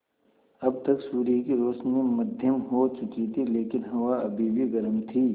अब तक सूर्य की रोशनी मद्धिम हो चुकी थी लेकिन हवा अभी भी गर्म थी